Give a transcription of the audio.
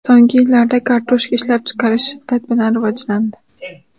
So‘nggi yillarda kartoshka ishlab chiqarish shiddat bilan rivojlandi.